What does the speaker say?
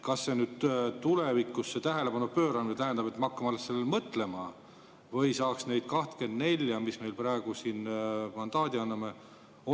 Kas see tulevikus tähelepanu pööramine tähendab, et me hakkame sellele mõtlema, või saaks neid 24, kellele me praegu siin mandaadi anname?